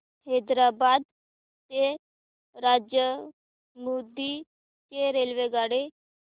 हैदराबाद ते राजमुंद्री ची रेल्वेगाडी